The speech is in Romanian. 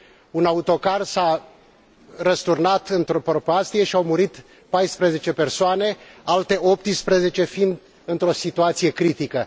Un autocar s a răsturnat într o prăpastie și au murit 14 persoane, alte 18 fiind într o situație critică.